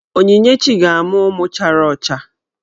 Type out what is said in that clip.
Onyinyechi ga-amụ ụmụ chara ọcha.